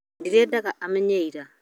ndirendaga amenye ira